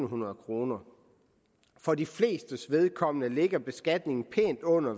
hundrede kroner for de flestes vedkommende ligger beskatningen pænt under